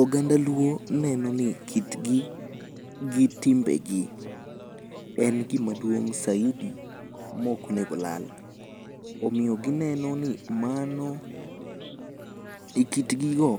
Oganda luo neno ni kitgi gi timbe gi en gima duong' saidi mok onego olal. Omiyo gineno ni mano, e kit gi go,